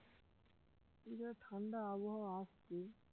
এদিকে ঠান্ডা আবহাওয়া আসছে